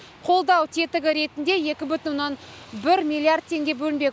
қолдау тетігі ретінде екі бүтін оннан бір миллиард теңге бөлінбек